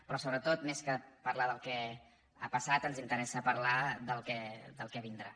però sobretot més que parlar del que ha passat ens interessa parlar del que vindrà